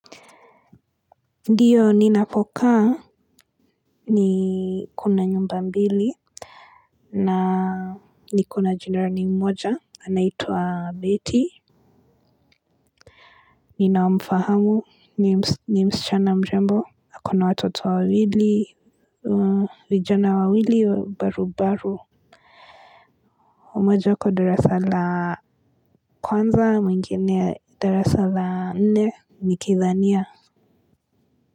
Ndiyo ninapokaa kuna nyumba mbili. Na niko na jirani mmoja anaitwa betty. Ninamfahamu ni msichana mrembo ako na watoto wawili. Vijana wawili barubaru mmoja ako darasa la kwanza mwingine darasa la nne nikidhania.